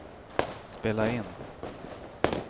spela in